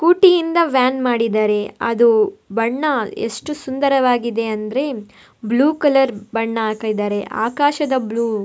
ಊಟಿಯಿಂದ van ಮಾಡಿದ್ದಾರೆ ಅದು ಬಣ್ಣ ಎಷ್ಟು ಸುಂದರವಾಗಿದೆ ಅಂದ್ರೆ ಬ್ಲೂ ಕಲರ್ ಬಣ್ಣ ಹಾಕಿದ್ದಾರೆ ಆಕಾಶದ ಬ್ಲೂ .